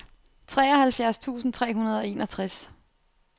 treoghalvfjerds tusind tre hundrede og enogtres